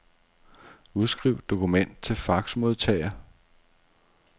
Udskriv dokument til faxmodtager.